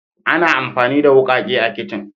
Ana amfani da wukake a kicin.